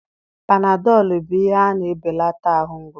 Panadọlụ bụ ihe na-ebelata ahụ mgbu